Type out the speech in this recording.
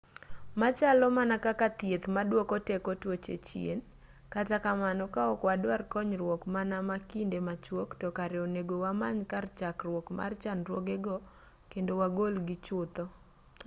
ma chalo mana kaka thieth maduoko teko tuoche chien kata kamano ka ok wadwar konyruok mana ma kinde machuok to kare onego wamany kar chakruok mar chandruoge go kendo wagolgi chutho